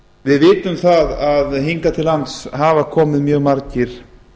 við vitum að hingað til lands hafa komið mjög margir